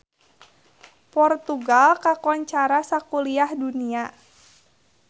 Portugal kakoncara sakuliah dunya